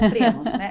Cumprimos, né?